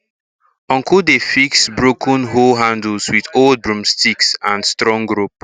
uncle dey fix broken hoe handles with old broomsticks and strong rope